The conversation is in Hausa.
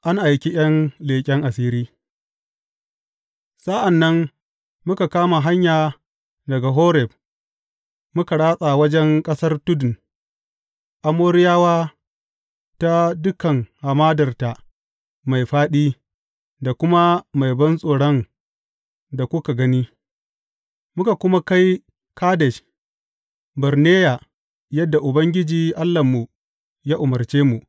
An aiki ’yan leƙen asiri Sa’an nan, muka kama hanya daga Horeb muka ratsa wajen ƙasar tudun Amoriyawa ta dukan hamadarta mai fāɗi, da kuma mai bantsoron da kuka gani, muka kuma kai Kadesh Barneya yadda Ubangiji, Allahnmu ya umarce mu.